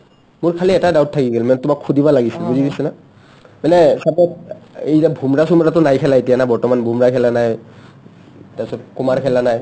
মোৰ খালী এটা doubt থাকি গেল মানে তোমাক সুধিব লাগিছিল বুজি পাইছা না মানে suppose এই যে ভোমৰা-চোমৰা to নাই খেলা না এতিয়া বৰ্তমান বোমৰাই খেলা নাই তাচত কুমাৰ খেলা নাই